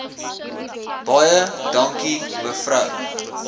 baie dankie mevrou